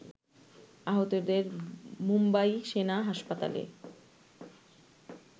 আহতদের মুম্বাই সেনা হাসপাতালে